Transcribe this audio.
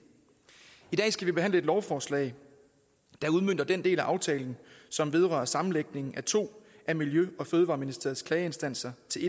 i dag skal vi behandle et lovforslag der udmønter den del af aftalen som vedrører sammenlægning af to af miljø og fødevareministeriets klageinstanser til